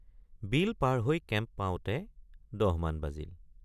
বিল পাৰ হৈ কেম্প পাওঁতে ১০॥ মান বাজিল।